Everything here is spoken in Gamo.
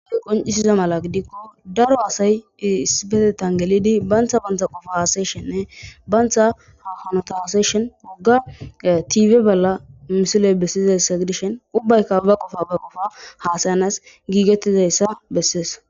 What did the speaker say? qoncisiza mala gidikko daro asay iisibepetan gelidi bantha bantha qofa haasyeshenne bantha hanota seshon wogga tiibe balla misiley bessizayssa gidishen ubbayka ba qofa ba qofa haasayanas giigettizayssa bessees.